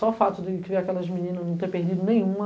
Só o fato de criar aquelas meninas, não ter perdido nenhuma.